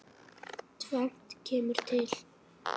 Tvennt kemur til.